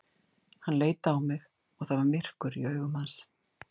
Hann leit á mig og það var myrkur í augum hans.